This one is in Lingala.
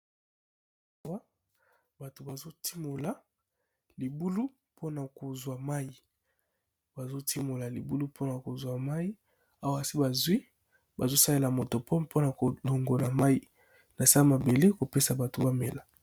Bato bazo timola libulu po na ko zwa mayi, bazo timola libulu po na kozwa mai. Awa si ba zwi bazo salela moto po pona ko longona mayi na se mabele ko pesa bato ba mela .